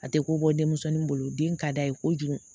A tɛ ko bɔ denmisɛnnin bolo den ka d'a ye kojugu